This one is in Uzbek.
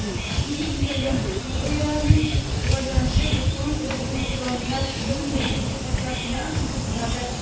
Sun’iy intellekt texnologiyalarining rivojlanishi butun insoniyat uchun yangi sakrashga asos bo‘ladi.